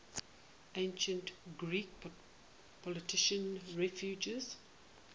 ancient greek political refugees